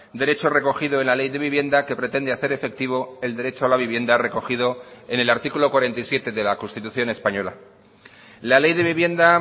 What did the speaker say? derecho recogido en la ley de vivienda que pretende hacer efectivo el derecho a la vivienda recogido en el artículo cuarenta y siete de la constitución española la ley de vivienda